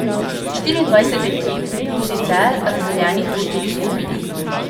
Štiriindvajset ekip bo sicer razdeljenih v štiri skupine.